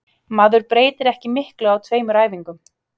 Maður breytir ekki miklu á tveimur æfingum.